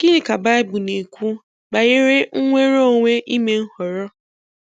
Gịnị ka Bible na-ekwu banyere nnwere onwe ime nhọrọ?